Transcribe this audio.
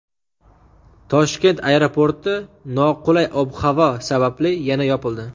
Toshkent aeroporti noqulay ob-havo sababli yana yopildi.